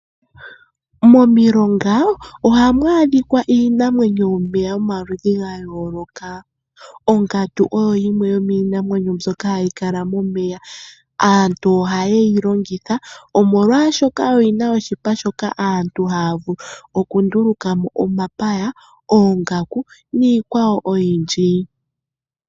Momilonga ohamu adhikwa iinamwenyo yomomeya yomaludhi ga yooloka. Omgandu oyo yimwe yomiinamwenyo mbyoka hayi kala momeya. Aantu ihaye yi longitha omolwashoka oyina oshipa shoka aantu haya vulu okundulukamo omapaya, oongaku niikwawo oyindji.